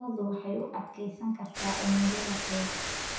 Lo'du waxay u adkeysan kartaa cimilada qabow.